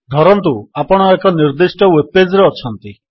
ଧରନ୍ତୁ ଆପଣ ଏକ ନିର୍ଦ୍ଦିଷ୍ଟ ୱେବ୍ ପେଜ୍ ରେ ଅଛନ୍ତି